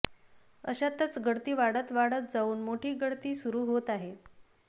अशातच गळती वाढत वाढत जाऊन मोठी गळती सुरू होत आहे